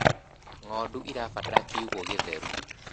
ng'ondu irabatara kĩugũ githeru